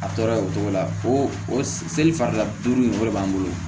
A tɔɔrɔ ye o cogo la o o sel'i farila duuru in o de b'an bolo